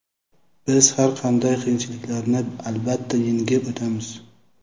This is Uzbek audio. biz har qanday qiyinchiliklarni albatta yengib o‘tamiz!.